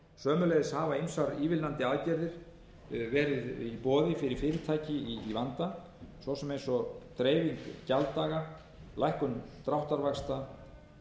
sömuleiðis hafa ýmsar ívilnandi aðgerðir verið í boði fyrir fyrirtæki í vanda svo sem eins og dreifing gjalddaga lækkun dráttarvaxta